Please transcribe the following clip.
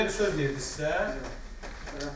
Belə bir söz dedinizsə, yox.